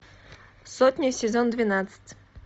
сотня сезон двенадцать